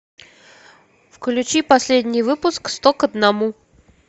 включи последний выпуск сто к одному